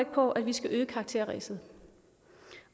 på at vi skal øge karakterræset